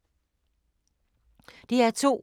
DR2